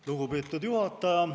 Lugupeetud juhataja!